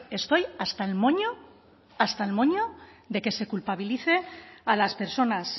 estoy hasta el moño de que se culpabilice a las personas